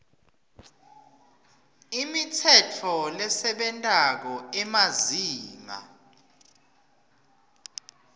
imitsetfo lesebentako emazinga